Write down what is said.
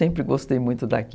Sempre gostei muito daqui.